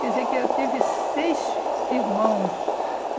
Quer dizer, que eu tive seis irmãos.